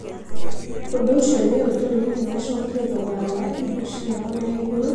Ũndũ ũcio nĩ ũtũmĩte macokie thogora wa indo ciao na igũrũ nĩguo mahote kũhiũrania na thogora wa indo.